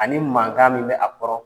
Ani mankan min bɛ a kɔrɔ